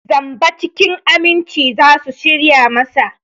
Zamba cikin aminci za su shirya masa.